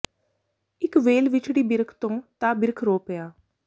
ਇਕ ਵੇਲ ਵਿਛੜੀ ਬਿਰਖ ਤੋਂ ਤਾਂ ਬਿਰਖ ਰੋ ਪਿਆ